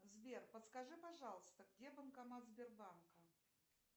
сбер подскажи пожалуйста где банкомат сбербанка